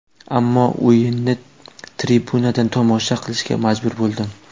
Ammo o‘yinni tribunadan tomosha qilishga majbur bo‘ldim.